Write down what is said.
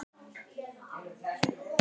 Svo fimm sinnum í viku.